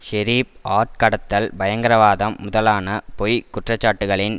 ஷெரிப் ஆட்கடத்தல் பயங்கரவாதம் முதலான பொய் குற்றச்சாட்டுகளின்